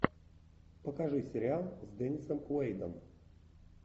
покажи сериал с деннисом куэйдом